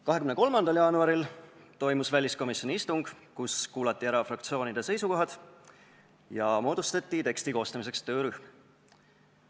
23. jaanuaril toimus väliskomisjoni istung, kus kuulati ära fraktsioonide seisukohad ja moodustati teksti koostamiseks töörühm.